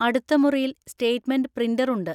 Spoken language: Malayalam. അടുത്ത മുറിയിൽ സ്റ്റേറ്റ്മെന്റ് പ്രിൻറർ ഉണ്ട്.